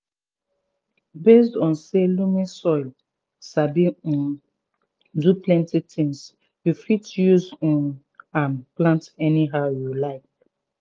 based on say loamy soil sabi um do plenty tins you fit use um am plant anyhow you like